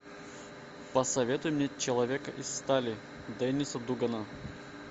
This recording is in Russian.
посоветуй мне человек из стали дениса дугана